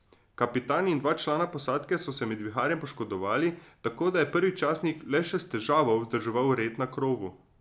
Kapitan in dva člana posadke so se med viharjem poškodovali, tako da je prvi častnik le še s težavo vzdrževal red na krovu.